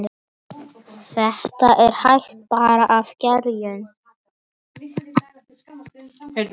Þetta er hægfara gerjun.